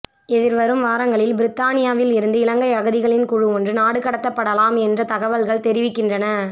எதிர்வரும் வாரங்களில் பிரித்தானியாவில் இருந்து இலங்கை அகதிகளின் குழு ஒன்று நாடுகடத்தப்படலாம் என்று தகவல்கள் தெரிவிக்கின்றன